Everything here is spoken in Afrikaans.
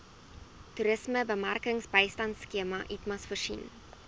toerismebemarkingbystandskema itmas voorsien